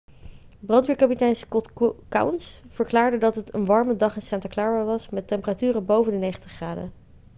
brandweerkapitein scott kouns verklaarde dat het een warme dag in santa clara was met temperaturen boven de 90 graden